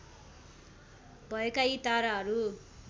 भएका यी ताराहरू